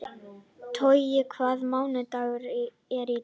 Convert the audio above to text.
Toggi, hvaða mánaðardagur er í dag?